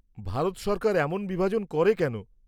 -ভারত সরকার এমন বিভাজন করে কেন?